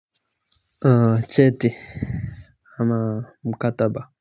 Cheti ama mkataba.